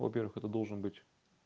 во-первых это должен быть